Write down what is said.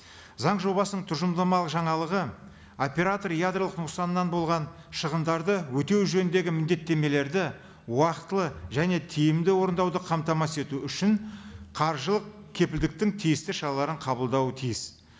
заң жобасының тұжырымдамалы жаңалығы оператор ядролық нұқсаннан болған шығындарды өтеу жөніндегі міндеттемелерді уақытылы және тиімді орындауды қамтамасыз ету үшін қаржылық кепілдіктің тиісті шараларын қабылдауы тиіс